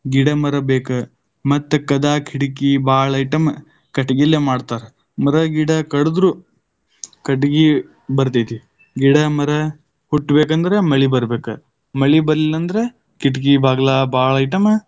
ಗಿಡ ಮರ ಬೇಕ ಮತ್ತ ಕದಾ ಕಿಡಿಕಿ ಬಾಳ item ಕಟಿಗಿಲೆ ಮಾಡ್ತಾರ, ಮರ ಗಿಡ ಕಡುದ್ರು, ಕಟಗಿ ಬರ್ತೈತಿ ಗಿಡ ಮರ ಹುಟ್ಟಬೇಕೆಂದ್ರ ಮಳಿ ಬರಬೇಕ. ಮಳಿ ಬರ್ಲಿಲ್ಲ ಅಂದ್ರ ಕಿಟಕಿ ಬಾಗಿಲ ಬಾಳ್ item .